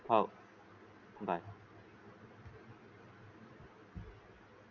हो बाय.